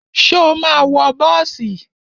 Ṣo ma wọ bọ́ọ̀sì?